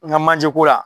N ka manje ko la